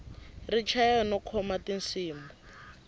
ri chaya no khoma tinsimu